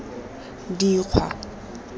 dikgwa